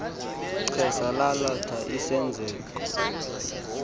xesha lalatha isenzeko